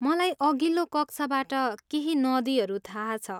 मलाई अघिल्लो कक्षाबाट केही नदीहरू थाहा छ।